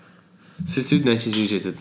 сөйтіп сөйтіп нәтижеге жетеді